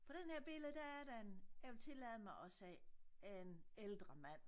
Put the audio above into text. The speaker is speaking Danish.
På den her billede der er der en jeg vil tillade mig at sige en ældre mand